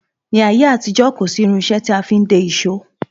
Ní ayé àtijó, kòsi irinsé tí a fin de ìsọ